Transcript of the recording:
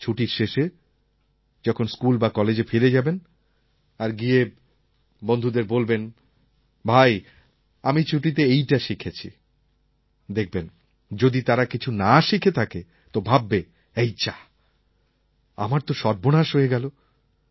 ছুটির শেষে যখন স্কুল বা কলেজে ফিরে যাবেন আর গিয়ে বন্ধুদের বলবেন ভাই আমি ছুটিতে এইটা শিখেছি দেখবেন যদি তারা কিছু না শিখে থাকে তো ভাববে এই যাঃ আমার তো সর্বনাশ হয়ে গেল